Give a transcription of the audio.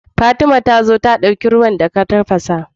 Fatima tazo ta dauki ruwan da ka tafasa